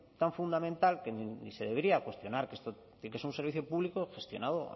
tan fundamental que y se debería cuestionar que esto tiene que ser un servicio público gestionado